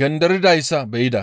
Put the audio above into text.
genderidayssa be7ida.